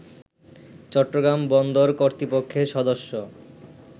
চট্টগ্রাম বন্দর কর্তৃপক্ষের সদস্য